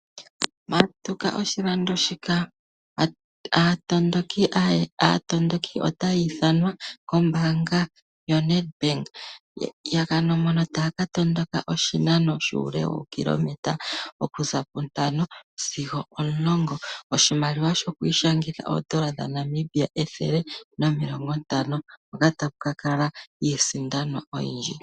Matuka oshilando shika. Aatondoki otayi ithanwa kombanga yoNedbank mono taya ka tondoka oshinano shuule wokilimeter okuza puntano sigo omulongo. Oshimaliwa shoku ishangitha oodollar dhaNamibia ethele nomilongo ntano. Hoka taku ka kala iisindanwa oyindji.